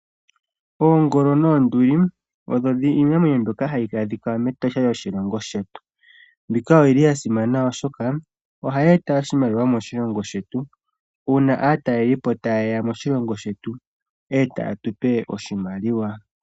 Oongolo noonduli oyo iinamwenyo mbyoka hayi adhika mEtosha lyoshilongo shetu. Mbika oyili yasimana oshoka ohayi eta oshimaliwa moshilongo shetu uuna aatalelipo tayeya moshilongo shetu etaye tupe oshimaliwa.